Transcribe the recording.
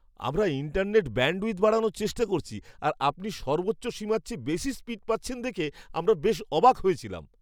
আমরা internet bandwidth বাড়ানোর চেষ্টা করছি আর আপনি সর্বোচ্চ সীমার চেয়ে বেশি স্পীড পাচ্ছেন দেখে আমরা বেশ অবাক হয়েছিলাম।